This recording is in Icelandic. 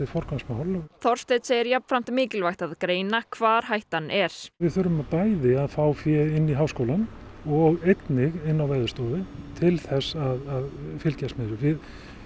forgangsmál Þorsteinn segir mikilvægt að greina hvar hættan er við þurfum bæði að fá fé inn í háskólann og einnig inn á Veðurstofu til þess að fylgjast með þessu við